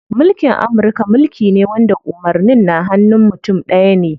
Mulkin Amurka mulki ne wanda umarnin na hanun mutum ɗaya ne.